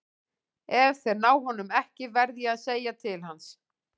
Ef þeir ná honum ekki verð ég að segja til hans.